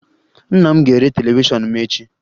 Nna m ga-ere televishọnụ m echi